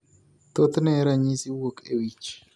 Thothne ranyisi wuok e wich